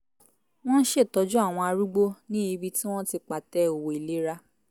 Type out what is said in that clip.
wọ́n ṣe ń tọ́jú àwọn arúgbó ní ibi tí wọ́n ti pàtẹ òwò ìlera